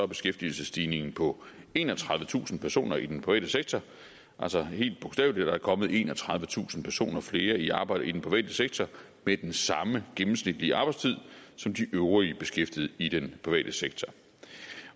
beskæftigelsesstigningen på enogtredivetusind personer i den private sektor altså helt bogstaveligt er der kommet enogtredivetusind personer flere i arbejde i den private sektor med den samme gennemsnitlige arbejdstid som de øvrige beskæftigede i den private sektor